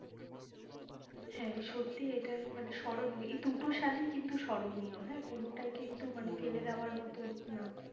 হ্যাঁ সত্যি এটা মানে স্মরণীয় এই দুটো সালই কিন্তু স্মরণীয় হ্যাঁ কোনোটাই কিন্তু মানে ফেলে দেওয়ার মতন না